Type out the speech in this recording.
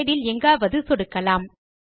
slide இல் எங்காவது சொடுக்கலாம்